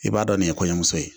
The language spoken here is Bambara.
I b'a dɔn nin ye kɔɲɔmuso ye